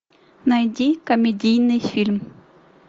найди комедийный фильм